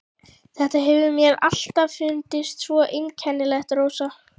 Þetta hefur mér alltaf fundist svo einkennilegt, Rósa.